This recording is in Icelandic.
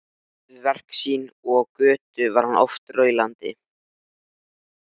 Lagði fötin frá sér á stól og kom til mín.